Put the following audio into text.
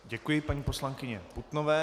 Děkuji paní poslankyni Putnové.